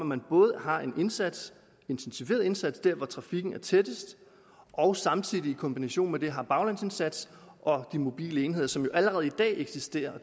man både har en indsats intensiveret indsats der hvor trafikken er tættest og samtidig i kombination med det har baglandsindsats og de mobile enheder som jo allerede i dag eksisterer og